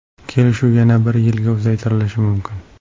Kelishuv yana bir yilga uzaytirilishi mumkin.